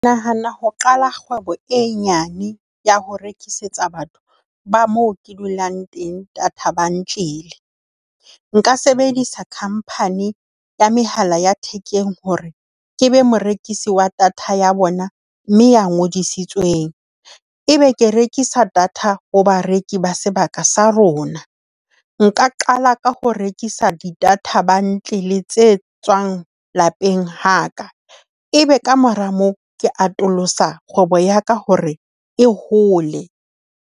Ke nahana ho qala kgwebo e nyane ya ho rekisetsa batho ba moo ke dulang teng data bundle. Nka sebedisa company ya mehala ya thekeng hore ke be morekisi wa data ya bona mme ya ngodisitsweng. E be ke rekisa data ho bareki ba sebaka sa rona. Nka qala ka hore rekisa di-data bundle tse tswang lapeng ha ka. E be kamora moo ke atolosa kgwebo ya ka hore e hole.